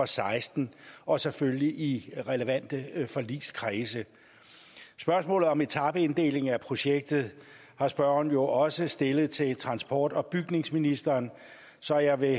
seksten og selvfølgelig i relevante forligskredse spørgsmålet om etapeinddeling af projektet har spørgeren jo også stillet til transport og bygningsministeren så jeg vil